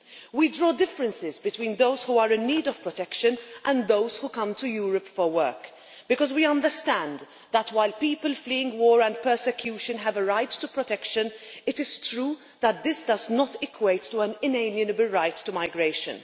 We draw differences between those who are in need of protection and those who come to Europe for work, because we understand that while people fleeing war and persecution have a right to protection, it is true that this does not equate to an inalienable right to migration.